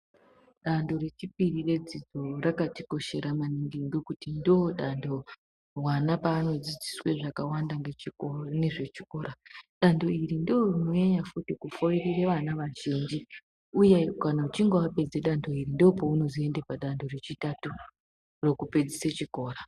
Danto rechipiri redzidzo rakatikoshera maningi ngekuti ndodando wana paanodzidziswe zvakawanda nechiko nezvechikora dando iri ndorinonyanya futi kufoirire vana vazhinji uye kana uchinge wapedze danto iri ndopounozoende padanto rechitatu rekupedzise chikora.